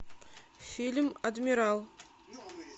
фильм адмирал